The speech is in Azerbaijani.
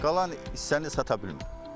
Qalan hissəni sata bilmirik.